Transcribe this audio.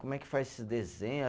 Como é que faz, esse desenho?